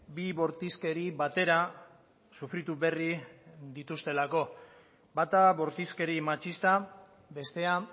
bi bortizkeri batera sufritu berri dituztelako bata bortizkeri matxista bestea